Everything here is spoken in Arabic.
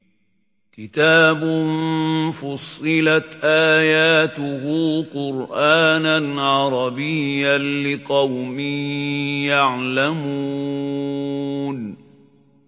كِتَابٌ فُصِّلَتْ آيَاتُهُ قُرْآنًا عَرَبِيًّا لِّقَوْمٍ يَعْلَمُونَ